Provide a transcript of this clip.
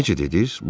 Necə dediniz?